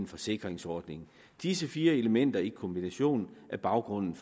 forsikringsordninger disse fire elementer i kombination er baggrunden